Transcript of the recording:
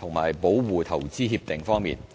和保護投資協定方面。